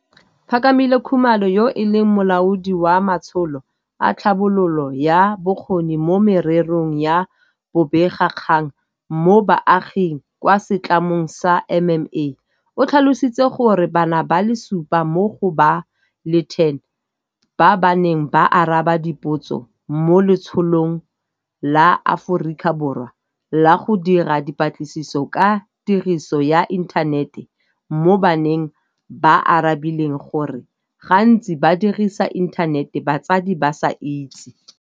Phakamile Khumalo, yo e leng Molaodi wa Matsholo a Tlhabololo ya Bokgoni mo Mererong ya Bobega kgang mo Baaging kwa setlamong sa MMA, o tlhalositse gore bana ba le supa mo go ba le 10 ba ba neng ba araba dipotso mo Letsholong la Aforika Borwa la go Dira Dipatlisiso ka Tiriso ya Inthanete mo Baneng ba arabile gore gantsi ba dirisa inthanete batsadi ba sa itse.